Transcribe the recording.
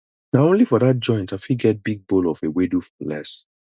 na only for dat joint i fit get big bowl of ewedu for less